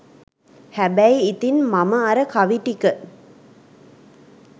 හැබැයි ඉතින් මම අර කවි ටික